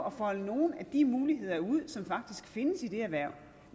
at folde nogle af de muligheder ud som faktisk findes i det erhverv